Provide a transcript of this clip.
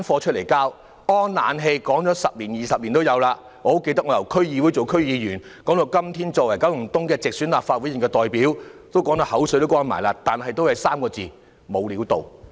安裝冷氣已經說了十多二十年，我很記得由我在區議會擔任區議員起，一直討論到今天我作為九龍東的直選立法會議員，大家說得口乾了，但最終也只有3個字，就是"無料到"。